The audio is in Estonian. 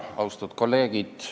Austatud kolleegid!